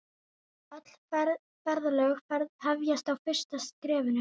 Öll ferðalög hefjast á fyrsta skrefinu.